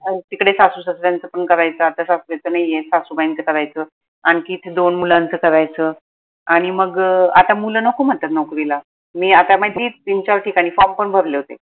अहो तिकडे सासू सासऱ्यांच पन करायच आता सासरे त नाहीयेत सासुबाईंच करायच आनखी ते दोन मुलांच करायच आनि मग आता मुल नको म्हनतात नोकरीला मी आता माझी तीन चार ठिकाणी form पन भरले होते